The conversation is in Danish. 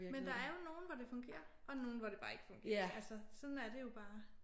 Men der er jo nogle hvor det fungerer og nogle hvor det bare ikke fungerer altså sådan er det jo bare